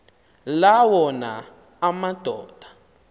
la wona amadoda